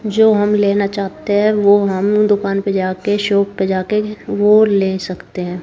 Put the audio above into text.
जो हम लेना चाहते हैं वो हम दुकान पे जाके शाॅप पे जाके वो ले सकते है।